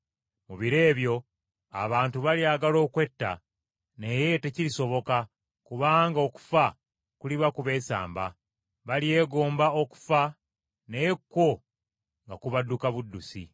Mu biro ebyo abantu balyagala okwetta naye tekirisoboka kubanga okufa kuliba kubeesamba; balyegomba okufa naye kwo, nga kubadduka buddusi!